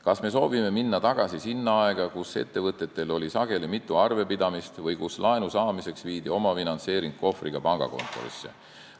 Kas me soovime minna tagasi aega, kui ettevõtetel oli sageli mitu arvepidamist või kui laenu saamiseks viidi omafinantseering kohvriga pangakontorisse?